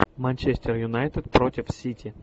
манчестер юнайтед против сити